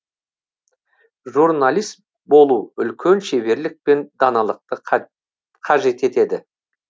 журналист болу үлкен шеберлік пен даналықты қажет етеді